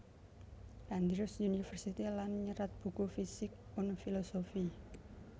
Andrews University lan nyerat buku Physik und Philosophie